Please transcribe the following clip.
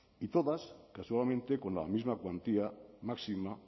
y todas casualmente con la misma cuantía máxima